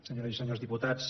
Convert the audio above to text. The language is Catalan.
senyores i senyors diputats